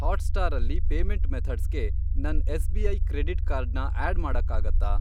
Hotstar ಅಲ್ಲಿ payment ಮೆಥಡ್ಸ್ಗೆ ನನ್ ಎಸ್.ಬಿ.ಐ. ಕ್ರೆಡಿಟ್ ಕಾರ್ಡ್ ನ ಆಡ್ ಮಾಡಕ್ಕಾಗತ್ತಾ?